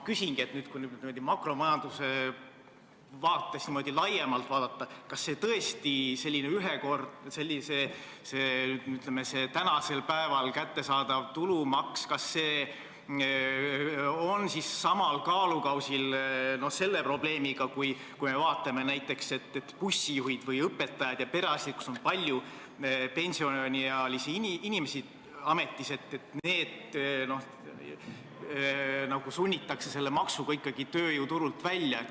Kui makromajanduse vaates laiemalt vaadata, kas siis tõesti selline tänasel päeval kättesaadav tulumaks on samal kaalukausil selle probleemiga, et bussijuhid või õpetajad ja perearstid nagu sunnitakse selle maksuga ikkagi tööjõuturult välja?